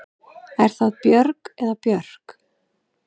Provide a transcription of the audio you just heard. Er það Björg eða Björk?